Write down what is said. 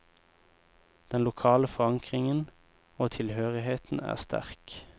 Den lokale forankringen og tilhørigheten er sterk.